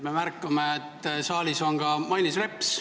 Me märkame, et saalis on ka Mailis Reps.